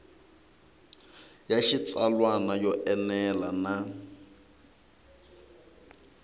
ya xitsalwana yo enela na